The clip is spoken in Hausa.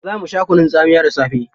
Za mu sha kunun tsamiya da safe.